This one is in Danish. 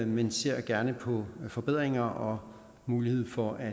men ser gerne på forbedringer og muligheden for at